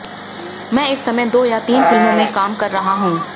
मैं इस समय दो या तीन फिल्मों में काम कर रहा हूं